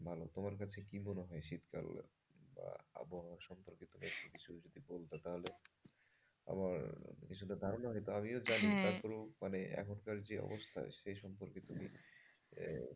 বলো তোমার কাছে কি মনে হয় শীতকাল বা আবহাওয়া সম্পর্কে তোমার কিছু যদি বলতে তাহলে আমার কিছুটা ধারণা হইতো আমিও জানি হ্যাঁ তারপরেও মানে এখনকার যে অবস্থা সে সম্পর্কে তুমি,